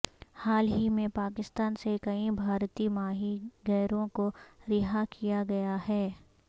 حال ہی میں پاکستان سے کئی بھارتی ماہی گیروں کو رہا کیا گیا ہے